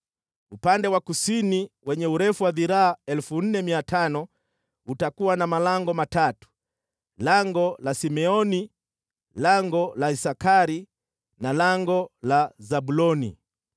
“Upande wa kusini, wenye urefu wa dhiraa 4,500, utakuwa na malango matatu: lango la Simeoni, lango la Isakari na lango la Zabuloni.